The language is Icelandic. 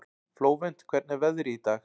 Flóvent, hvernig er veðrið í dag?